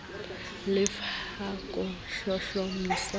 le f ka ho hlohlomisa